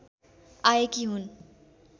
आएकी हुन्